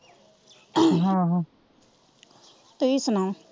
ਤੁਸੀ ਸੁਣਾਓ?